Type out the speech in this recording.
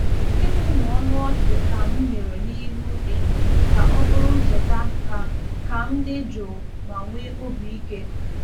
ịmụmụ ọnụ ọchị ka'm mere n’ihu enyo ka ọ bụrụ ncheta ka ka m dị jụụ ma nwee obi ike.